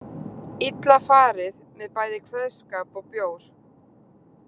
Illa farið með bæði kveðskap og bjór.